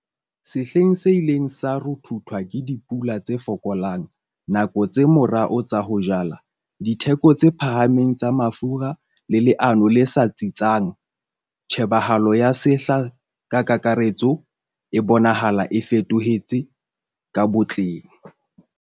SEHLENG SE ILENG SA RUTHUTHWA KE DIPULA TSE FOKOLANG, NAKO TSE MORAO TSA HO JALA, DITHEKO TSE PHAHAMENG TSA MAFURA LE LEANO LE SA TSITSANG, TJHEBAHALO YA SEHLA KA KAKARETSO E BONAHALA E FETOHETSE KA BOTLENG.